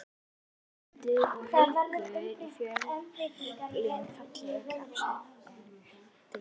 Ingimundur og Haukur í Fjölni Fallegasti knattspyrnumaðurinn í deildinni?